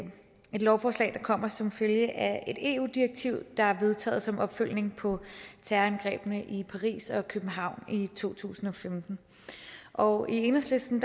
et lovforslag der kommer som følge af et eu direktiv der er vedtaget som opfølgning på terrorangrebene i paris og københavn i to tusind og femten og i enhedslisten